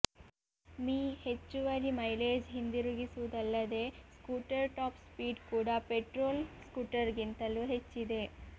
me ಹೆಚ್ಚುವರಿ mileage ಹಿಂದಿರುಗಿಸುವುದಲ್ಲದೇ scooter top speed ಕೂಡಾ ಪೆಟ್ರೋಲ್ ಸ್ಕೂಟರ್ಗಿಂತಲೂ ಹೆಚ್ಚಿದೆ